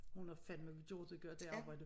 Hun har fandme gjort det godt dét arbejde